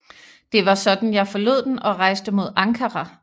Det var sådan jeg forlod den og rejste mod Ankara